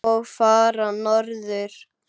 Og fara norður.